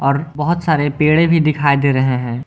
और बहोत सारे पेड़े भी दिखाई दे रहे हैं।